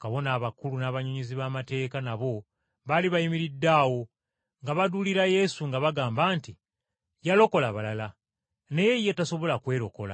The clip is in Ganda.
Bakabona abakulu n’abawandiisi nabo baali bayimiridde awo nga baduulira Yesu, nga bagamba nti, “Yalokola balala, naye ye tasobola kwerokola!